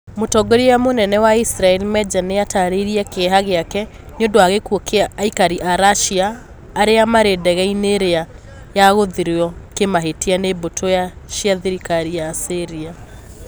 Mũtongoria mũnene wa Israel Meja nĩ atarĩirie kĩeha gĩake nĩ ũndũ wa gĩkuũ kĩa aikari a Russia arĩa marĩ ndege-inĩ ĩrĩa yagũithirio kĩmahĩtia nĩ mbũtũ cia thirikari ya Syria.